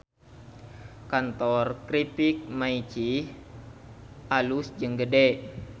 Kantor Kripik Maicih alus jeung gede